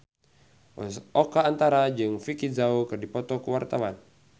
Oka Antara jeung Vicki Zao keur dipoto ku wartawan